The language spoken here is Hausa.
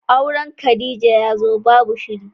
Auren Khadijah yazo babu shiri.